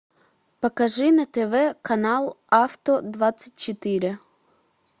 покажи на тв канал авто двадцать четыре